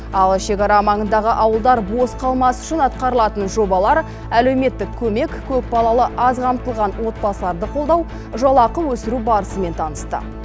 ал шекара маңындағы ауылдар бос қалмас үшін атқарылатын жобалар әлеуметтік көмек көпбалалы аз қамтылған отбасыларды қолдау жалақы өсіру барысымен танысты